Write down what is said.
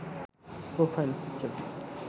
profile picture